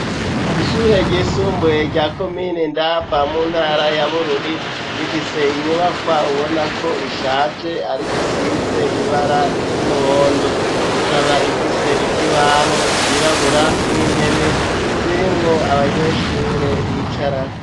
Ishure ryisumbuye rya komine Ndava mu ntara ya Bururi rifise inyubakwa ubona ko ishaje ariko isize ibara ry'umuhondo, ikaba ifise ikibaho cirabura n'intebe zirimwo abanyeshure bicarako.